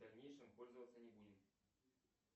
в дальнейшем пользоваться не будем